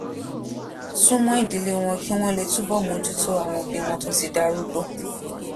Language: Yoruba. sún mó ìdílé wọn kí wón lè túbò bójú tó àwọn òbí wọn tó ti darúgbó